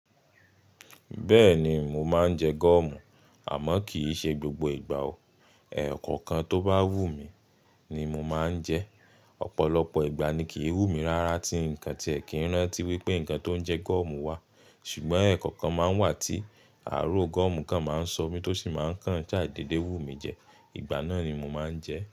Bẹ́ẹ̀ni, mo máa ń jẹ gọ́ọ̀mù, àmọ́ kì í ṣe gbogbo ìgbà o. Ẹ̀ẹ̀kọ̀kan tó bá wù mí, ni mo máa ń jẹ. Ọ̀pọ̀lọpọ̀ ìgbà ni kì í wù mí rárá tí ǹkan ti ẹ̀ kí ń rántí wípé ǹkan tó ń jẹ gọ́ọ̀mù wà. Ṣùgbọ́n ẹ̀ẹ̀kọ̀kan máa ń wà tí ààrò gọ́ọ̀mù kan máa ń sọ mí tó sì máa ń kàn ṣá dede wù mí jẹ. Ìgbà náà ni mo máa ń jẹ.